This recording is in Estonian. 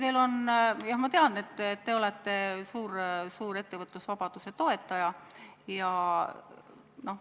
Jah, ma tean, et te olete suur ettevõtlusvabaduse toetaja.